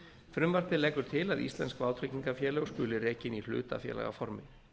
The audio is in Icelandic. frumvarpið leggur til að íslensk vátryggingafélög skuli rekin í hlutafélagaformi